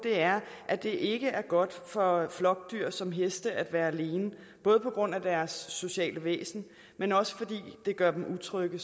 er at det ikke er godt for flokdyr som heste at være alene både på grund af deres sociale væsen men også fordi det gør dem utrygge